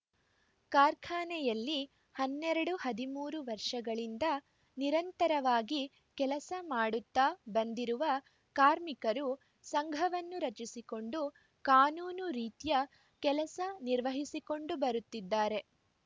ಕಾರ್ಖಾನೆಯಲ್ಲಿ ಹನ್ನೆರಡು ಹದಿಮೂರು ವರ್ಷಗಳಿಂದ ನಿರಂತರವಾಗಿ ಕೆಲಸ ಮಾಡುತ್ತಾ ಬಂದಿರುವ ಕಾರ್ಮಿಕರು ಸಂಘವನ್ನು ರಚಿಸಿಕೊಂಡು ಕಾನೂನು ರೀತ್ಯ ಕೆಲಸ ನಿರ್ವಹಿಸಿಕೊಂಡು ಬರುತ್ತಿದ್ದಾರೆ